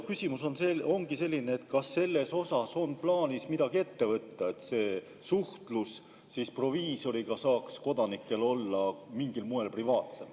Küsimus ongi selline, kas on plaanis midagi ette võtta, et kodanike suhtlus proviisoriga saaks olla mingil moel privaatsem.